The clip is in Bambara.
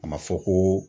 A ma fɔ ko